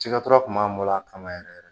Cikɛtɔ kun b'a bolo a kama yɛrɛ yɛrɛ